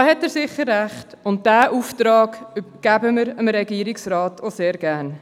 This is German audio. Da hat er sicher Recht, und diesen Auftrag übergeben wir dem Regierungsrat gerne.